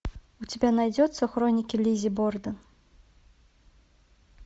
у тебя найдется хроники лиззи борден